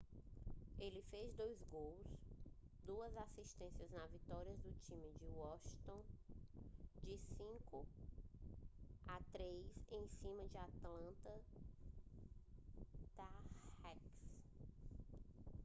ele fez 2 gols e 2 assistências na vitória do time de washington de 5 a 3 em cima do atlanta thrashers